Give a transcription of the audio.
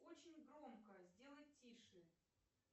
очень громко сделай тише